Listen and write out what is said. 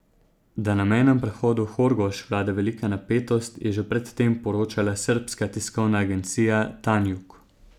Da na mejnem prehodu Horgoš vlada velika napetost, je že pred tem poročala srbska tiskovna agencija Tanjug.